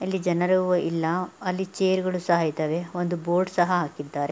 ಇಲ್ಲಿ ಜನರು ಇಲ್ಲ ಅಲ್ಲಿ ಚೇರ್ ಗಳು ಸಹ ಇದ್ದಾವೆ ಒಂದು ಬೋರ್ಡ್ ಸಹ ಹಾಕಿದ್ದಾರೆ--